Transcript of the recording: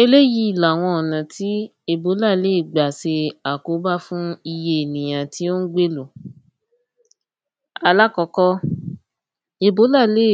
Eléyí làwọn ọ̀nà tí èbólà le gbà se àkóbá fún iye ènìyàn tí ó ń gbélú alákọ́kọ́ èbólà le